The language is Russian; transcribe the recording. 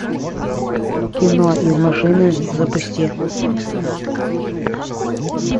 кино из машины запусти